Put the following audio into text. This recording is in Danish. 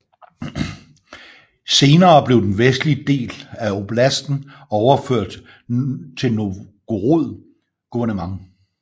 Senere blev den vestlige del af oblasten overført til Novgorod guvernement